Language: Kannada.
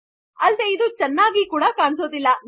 ಅಲ್ಲದೆ ಆಗ ಇದು ಚೆನ್ನಾಗಿ ಕಾಣಿಸುವುದಿಲ್ಲ